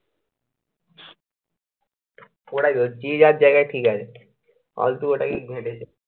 ওটাই তো। যে যার জায়গায় ঠিক আছে। ওটাই